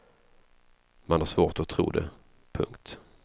Man har svårt att tro det. punkt